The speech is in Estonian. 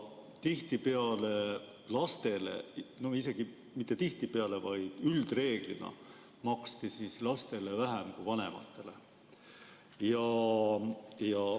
Tihtipeale lastele, isegi mitte tihtipeale, vaid üldreeglina, maksti vähem kui vanematele.